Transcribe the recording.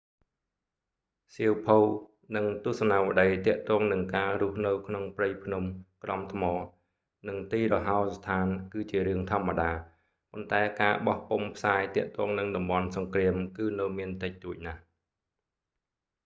សៀវភៅ និង ទស្សនាវដ្តីទាក់ទងនឹងការរស់នៅក្នុងព្រៃភ្នំក្រំថ្មនិងទីរហោស្ថានគឺជារឿងធម្មតា ប៉ុន្តែការបោះពុម្ពផ្សាយទាក់ទងនឹងតំបន់សង្គ្រាមគឺនៅមានតិចតួចណាស់